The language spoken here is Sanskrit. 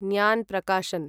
न्यान् प्रकाशन्